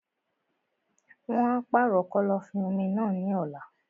Wọn á pàrọ̀ kọ́lọ́fín-omi náà ní ọ̀la.